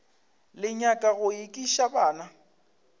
le nyaka go ekiša bana